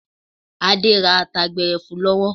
Adé ra ata gbẹrẹfu lọ́wọ́.